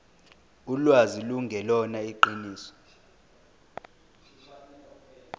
ulwazi lungelona iqiniso